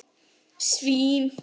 Eftir morgunmat er skoðunarferð.